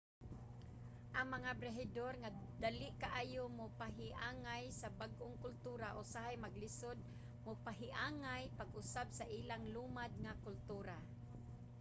ang mga byahedor nga dali kaayo mopahiangay sa bag-ong kultura usahay maglisod mopahiangay pag-usab sa ilang lumad nga kultura